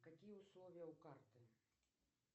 какие условия у карты